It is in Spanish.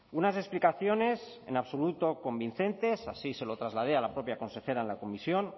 unas explicaciones en absoluto convincentes así se lo trasladé a la propia consejera en la comisión